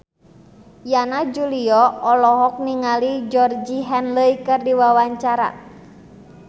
Yana Julio olohok ningali Georgie Henley keur diwawancara